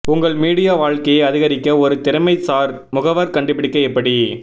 உங்கள் மீடியா வாழ்க்கையை அதிகரிக்க ஒரு திறமைசார் முகவர் கண்டுபிடிக்க எப்படி